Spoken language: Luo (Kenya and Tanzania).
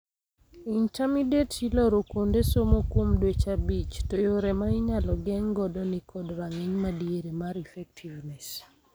Intermediate-Iloro kuonde somo kuom dweche abich, to yore ma inyalo geng' godo ni kod rang'iny madiere mar effectiveness.